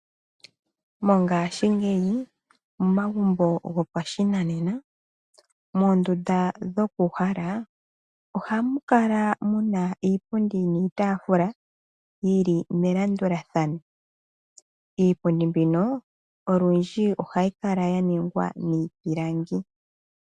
Mongashi ngeyi momagumbo gopashinanena mondunda dhokuhala oha mukala muna iipundi niitafula yili melandulathano , iipundi mbino olundji ohayikala yaningwa mipilangi.